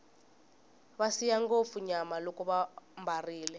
va siya ngopfu nyama loko vambarile